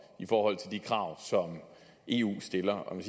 i forhold til de krav som eu stiller man